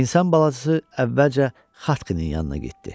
İnsan balası əvvəlcə Xatqinin yanına getdi.